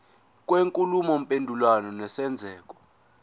kwenkulumo mpendulwano nesenzeko